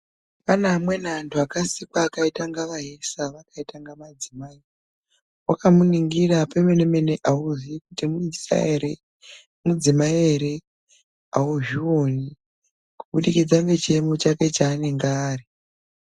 Pane amweni antu akasikwa akaita kunge aisa nevakaita kunge madzimai. Vakamuringira pemene-mene haumuziwi kuti muisa ere, mudzimai ere haizvioni kubudikidza nechiyemo chake chanenge ari.